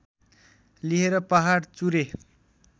लिएर पहाड चुरे